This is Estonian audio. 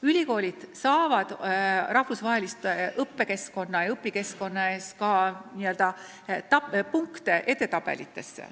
Praegu saavad ülikoolid rahvusvahelise õppekeskkonna eest punkte edetabelitesse.